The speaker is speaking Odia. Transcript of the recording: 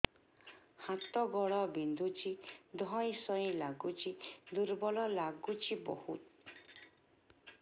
ହାତ ଗୋଡ ବିନ୍ଧୁଛି ଧଇଁସଇଁ ଲାଗୁଚି ଦୁର୍ବଳ ଲାଗୁଚି ବହୁତ